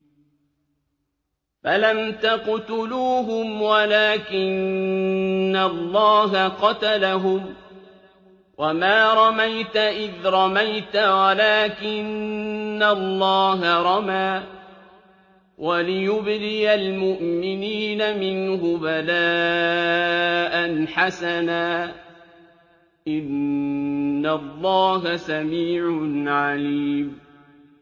فَلَمْ تَقْتُلُوهُمْ وَلَٰكِنَّ اللَّهَ قَتَلَهُمْ ۚ وَمَا رَمَيْتَ إِذْ رَمَيْتَ وَلَٰكِنَّ اللَّهَ رَمَىٰ ۚ وَلِيُبْلِيَ الْمُؤْمِنِينَ مِنْهُ بَلَاءً حَسَنًا ۚ إِنَّ اللَّهَ سَمِيعٌ عَلِيمٌ